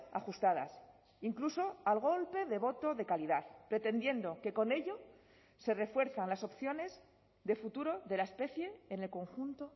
ajustadas incluso al golpe de voto de calidad pretendiendo que con ello se refuerzan las opciones de futuro de la especie en el conjunto